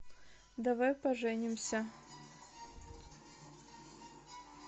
давай поженимся